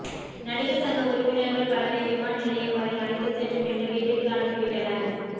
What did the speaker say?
நடிகர் சங்க உறுப்பினர்கள் பலரை விமான நிலையம் வரை அழைத்து சென்று பின்னர் வீட்டிற்கு அனுப்பி விட்டனர்